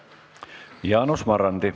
Jaanus Marrandi.